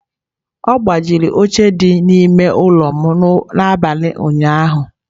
Ọ gbajiri oche dị n'ime ụlọ m n'abalị ụnyaahụ.